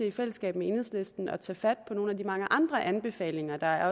i fællesskab med enhedslisten til at tage fat på nogle af de mange andre anbefalinger der